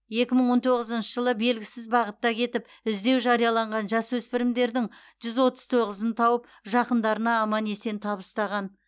екі мың он тоғызыншы жылы белгісіз бағытта кетіп іздеу жарияланған жасөспірімдердің жүз отыз тоғызын тауып жақындарына аман есен табыстаған